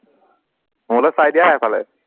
মোলে চাই দিয়া সেইফালে